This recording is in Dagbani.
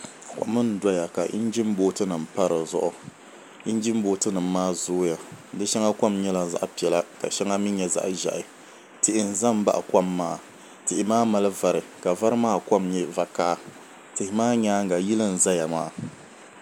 Kom n doya ka injin booti nim pa di zuɣu injin booti nim maa zooya di shɛŋa kom nyɛla zaɣ piɛla ka shɛŋa mii nyɛ zaɣ ʒiɛhi tihi n ʒɛ baɣa kom maa tihi maa mali vari ka vari maa nyɛ zaɣ vakaɣa tihi maa nyaanŋa yili n ʒɛya maa